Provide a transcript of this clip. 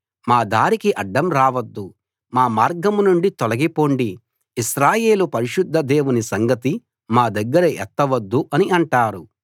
మా దారికి అడ్డం రావద్దు మా మార్గం నుండి తొలగి పొండి ఇశ్రాయేలు పరిశుద్ధ దేవుని సంగతి మా దగ్గర ఎత్తవద్దు అని అంటారు